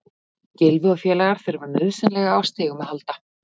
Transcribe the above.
Gylfi og félagar þurfa nauðsynlega á stigum að halda.